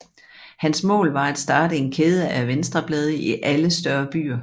Hans mål var at starte en kæde af venstreblade i alle større byer